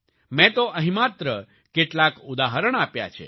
મેં તો અહીં માત્ર કેટલાક ઉદાહરણ આપ્યા છે